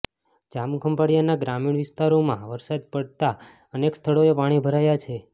જામખંભાળિયાના ગ્રામીણ વિસ્તારોમાં વરસાદ પડતાં અનેક સ્થળોએ પાણી ભરાયા છે